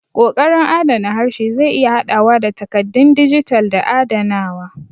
Ƙoƙarin adana harshe zai iya haɗawa da takaddun dijital da adanawa.